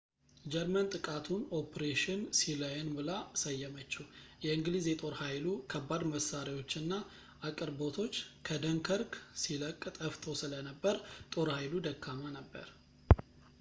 ጀርመን ጥቃቱን ኦፕሬሽን ሲላየን ብላ ሰየመችው የእንግሊዝ የጦር ኃይሉ ከባድ መሳሪያዎች እና አቅርቦቶች ከደንከርክ ሲለቅ ጠፍተው ስለነበር ጦር ኃይሉ ደካማ ነበር